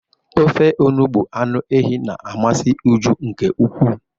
Ofe onugbu anụ ehi na-amasị Uju nke ukwuu.